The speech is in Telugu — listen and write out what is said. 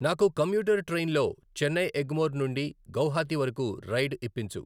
నాకు కమ్యూటర్ ట్రైన్లో చెన్నై ఎగ్మోర్ నుండి గౌహతి వరకు రైడ్ ఇప్పించు.